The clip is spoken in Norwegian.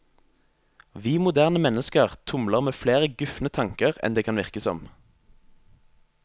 Vi moderne mennesker tumler med flere gufne tanker enn det kan virke som.